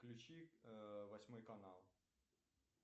включи восьмой канал